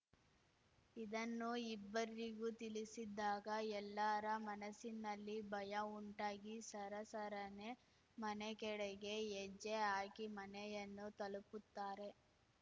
ಇದನ್ನು ಇಬ್ಬರಿಗೂ ತಿಳಿಸಿದ್ದಾಗ ಎಲ್ಲಾರ ಮನಸ್ಸಿನಲ್ಲಿ ಭಯ ಉಂಟಾಗಿ ಸರ ಸರನೆ ಮನೆಕೆಡೆಗೆ ಹೆಜ್ಜೆ ಹಾಕಿ ಮನೆಯನ್ನು ತಲುಪುತ್ತಾರೆ